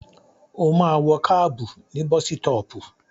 Ó máa wọ kábù ní bọ́sítọpù.